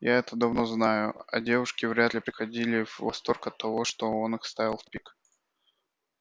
я это давно знаю а девушки вряд ли приходили в восторг от того что он их ставил в пик